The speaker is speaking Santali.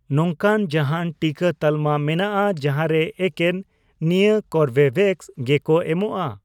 ᱱᱚᱝᱠᱟᱱ ᱡᱟᱦᱟᱱ ᱴᱤᱠᱟᱹ ᱛᱟᱞᱢᱟ ᱢᱮᱱᱟᱜᱼᱟ ᱡᱟᱦᱟᱸ ᱨᱮ ᱮᱠᱮᱱ ᱱᱤᱭᱟᱹ ᱠᱳᱨᱵᱤᱵᱷᱮᱠᱥ ᱜᱮ ᱠᱚ ᱮᱢᱚᱜᱼᱟ ?